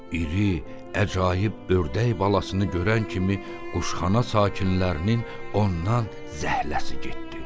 İri əcaib ördək balasını görən kimi quşxana sakinlərinin ondan zəhləsi getdi.